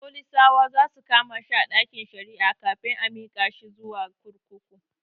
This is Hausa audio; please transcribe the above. Folisawa zasu kama shi a ɗakin shari'ar kafin a mika shi zuwa kurkuku